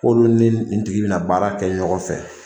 K'olu ni nin tigi bɛna baara kɛ ɲɔgɔn fɛ.